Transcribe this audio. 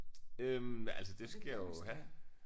Øh altså det skal jeg jo have